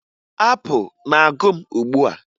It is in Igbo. Apụ na-agụ m ugbua